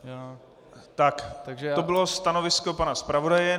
Tak to bylo stanovisko pana zpravodaje.